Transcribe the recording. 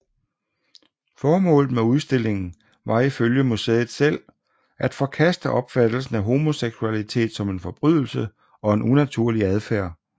Formålet med udstillingen var ifølge museet selv at forkaste opfattelsen af homoseksualitet som en forbrydelse og en unaturlig adfærd